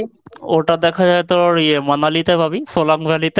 ওটা দেখা যায় তোর ইয়ে মানালিতে পাবি। Solang Valley তে।